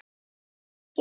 Ég vil ekki borða snigla.